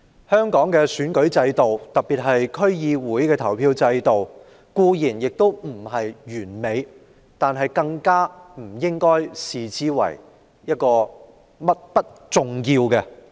香港的選舉制度，特別是區議會的投票制度，固然並不完美，但不應因此被視為不重要。